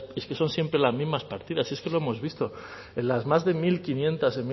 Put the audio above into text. es que son siempre las mismas partidas es que lo hemos visto en las más de mil quinientos